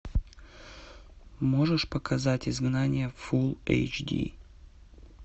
можешь показать изгнание фулл эйч ди